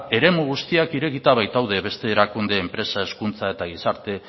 eremu guztiak irekita baitaude beste erakunde enpresak hezkuntza eta gizarte